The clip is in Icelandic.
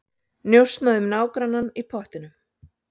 Njósnað um nágrannann í pottinum